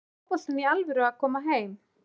Er fótboltinn í alvöru að koma heim?